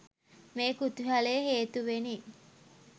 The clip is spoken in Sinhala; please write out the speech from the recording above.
මේ කුතුහලය හේතුවෙනි